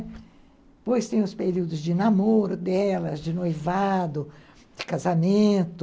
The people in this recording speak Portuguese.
Depois tem os períodos de namoro delas, de noivado, de casamento...